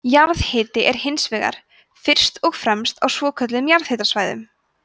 jarðhitinn er hins vegar fyrst og fremst á svokölluðum jarðhitasvæðum